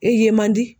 E ye man di